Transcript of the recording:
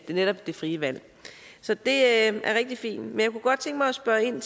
netop det frie valg så det er rigtig fint men jeg kunne godt tænke mig at spørge ind